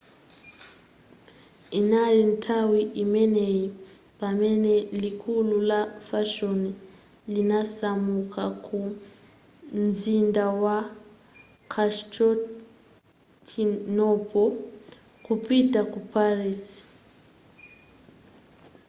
inali nthawi imeneyi pamene likulu la fashion linasamuka ku mzinda wa constantinople kupita ku paris